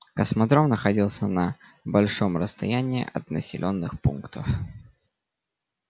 космодром находится на большом расстоянии от населённых пунктов